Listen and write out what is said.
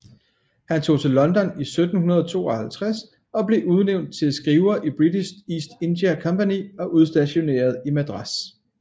Han tog til London i 1752 og blev udnævnt til skriver i British East India Company og udstationeret i Madras